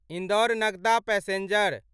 Indore Nagda passenger